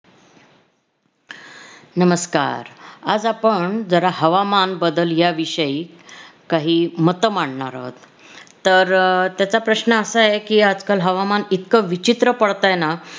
नमस्कार! आज आपण जरा हवामान बदल या विषयी काही मत मांडणार आहोत तर अह त्याचा प्रश्न असा आहे की आजकाल हवामान इतकं विचित्र पडतंय ना